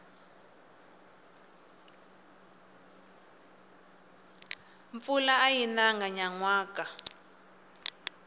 mpfula ayi nanga nyanwaka